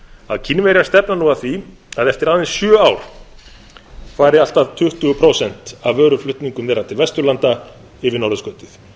að kínverjar stefna nú að því að eftir aðeins sjö ár fari allt að tuttugu prósent af vöruflutningum þeirra til vesturlanda um norðurskautið